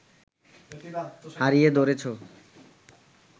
হারিয়ে ধরেছ